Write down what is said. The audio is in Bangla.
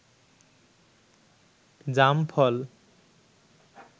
জাম ফল